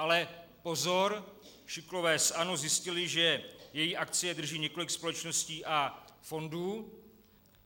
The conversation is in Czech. Ale pozor, šikulové z ANO zjistili, že její akcie drží několik společností a fondů.